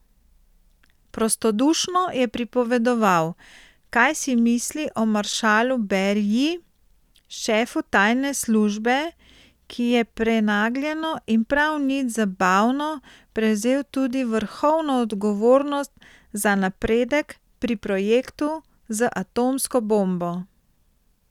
Prostodušno je pripovedoval, kaj si misli o maršalu Beriji, šefu tajne službe, ki je prenagljeno in prav nič zabavno prevzel tudi vrhovno odgovornost za napredek pri projektu z atomsko bombo.